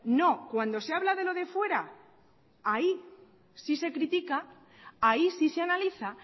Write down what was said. no cuando se habla de lo de fuera ahí sí se critica ahí sí se analiza